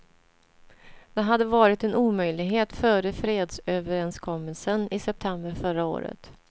Det hade varit en omöjlighet före fredsöverenskommelsen i september förra året.